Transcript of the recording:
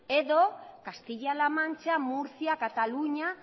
edo castilla la mancha murcia katalunia